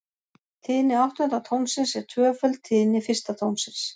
Tíðni áttunda tónsins er tvöföld tíðni fyrsta tónsins.